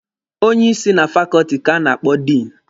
Onye isi na fakọọtị ka a na-akpọ Diinụ.